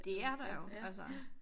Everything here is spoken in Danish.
Det er der jo altså